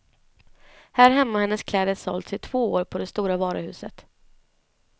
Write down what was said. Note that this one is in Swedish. Här hemma har hennes kläder sålts i två år på det stora varuhuset.